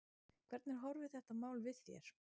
Hvernig horfir þetta mál við þér?